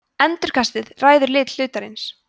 endurkastið ræður lit hlutarins